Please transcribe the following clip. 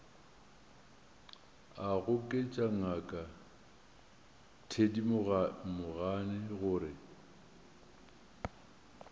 a goketša ngaka thedimogane gore